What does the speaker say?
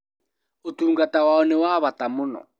Ũtungata wao nĩ wa bata mũno